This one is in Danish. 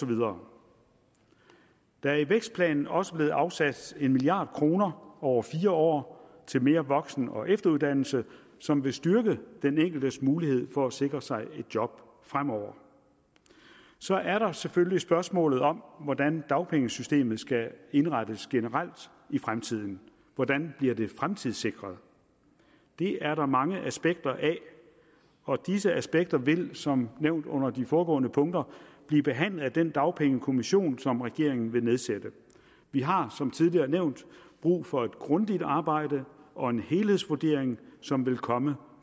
videre der er i vækstplanen også blevet afsat en milliard kroner over fire år til mere voksen og efteruddannelse som vil styrke den enkeltes mulighed for at sikre sig job fremover så er der selvfølgelig spørgsmålet om hvordan dagpengesystemet skal indrettes generelt i fremtiden hvordan bliver det fremtidssikret det er der mange aspekter af og disse aspekter vil som nævnt under de foregående punkter blive behandlet af den dagpengekommission som regeringen vil nedsætte vi har som tidligere nævnt brug for et grundigt arbejde og en helhedsvurdering som vil komme